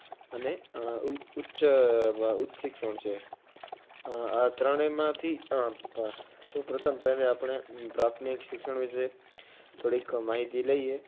અને ઉચ્ચ, ઉચ્ચ શિક્ષણ છે. આ ત્રણેયમાંથી અમ સૌ સૌપ્રથમ પહેલે આપણે પ્રાથમિક શિક્ષણ વિશે થોડીક માહિતી લઈએ.